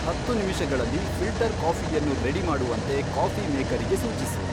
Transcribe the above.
ಹತ್ತು ನಿಮಿಷಗಳಲ್ಲಿ ಫಿಲ್ಟರ್ ಕಾಫಿಯನ್ನು ರೆಡಿ ಮಾಡುವಂತೆ ಕಾಫಿ ಮೇಕರಿಗೆ ಸೂಚಿಸು